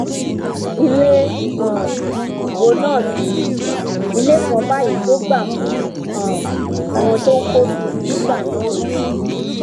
ilé um wo náà sì ni ilé kan báyìí tó gbà fún um àwọn tó ń kọ kiri nígbà náà ni